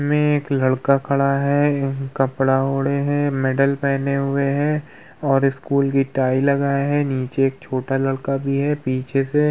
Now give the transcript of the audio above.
सामने एक लड़का खड़ा है यह कपड़ा ओढे है मैंडल पहने हुए है और स्कूल की टाई लगाए है नीचे एक छोटा लड़का भी है पीछे से --